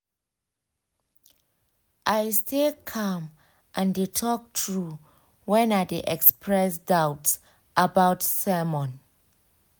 i stay calm and de talk true when i de express doubts about sermon